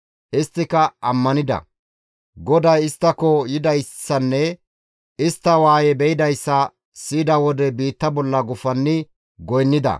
Isttika ammanida. GODAY isttako yidayssanne istta waaye be7idayssa siyida mala biitta bolla gufanni goynnida.